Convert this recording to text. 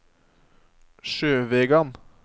Sjøvegan